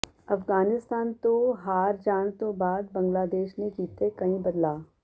ਅਫਗਾਨਿਸਤਾਨ ਤੋਂ ਹਾਰ ਜਾਣ ਤੋਂ ਬਾਅਦ ਬੰਗਲਾਦੇਸ਼ ਨੇ ਕੀਤੇ ਕਈ ਬਦਲਾਅ